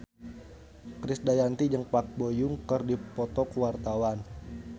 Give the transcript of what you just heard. Krisdayanti jeung Park Bo Yung keur dipoto ku wartawan